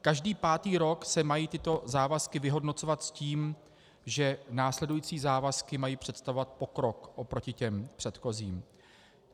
Každý pátý rok se mají tyto závazky vyhodnocovat s tím, že následující závazky mají představovat pokrok oproti těm předchozím.